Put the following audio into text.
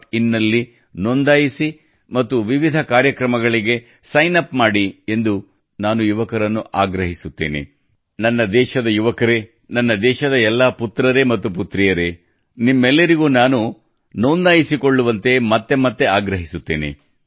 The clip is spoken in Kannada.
in ನಲ್ಲಿ ನೋಂದಾಯಿಸಿ ಮತ್ತು ವಿವಿಧ ಕಾರ್ಯಕ್ರಮಗಳಿಗೆ ಸೈನ್ ಅಪ್ ಮಾಡಿ ಎಂದು ನಾನು ಯುವಕರನ್ನು ಆಗ್ರಹಿಸುತ್ತೇನೆ ನನ್ನ ದೇಶದ ಯುವಕರೇ ನನ್ನ ದೇಶದ ಎಲ್ಲಾ ಪುತ್ರರೇ ಮತ್ತು ಪುತ್ರಿಯರೇ ನಿಮ್ಮೆಲ್ಲರಿಗೂ ನಾನು ನೋಂದಾಯಿಸಿಕೊಳ್ಳುವಂತೆ ಮತ್ತೆ ಮತ್ತೆ ಆಗ್ರಹಿಸುತ್ತೇನೆ